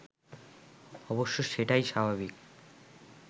অবশ্য সেটাই স্বাভাবিক